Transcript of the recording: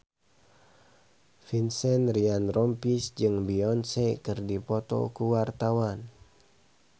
Vincent Ryan Rompies jeung Beyonce keur dipoto ku wartawan